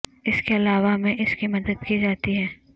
اس کے علاوہ میں اس کی مدد کی جاتی ہے